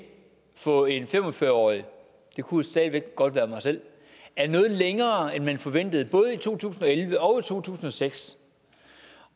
for en fem og fyrre årig det kunne stadig væk godt være mig selv er noget længere end man forventede i både to tusind og elleve og to tusind og seks